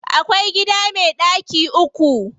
Akwai gida me ɗaki uku.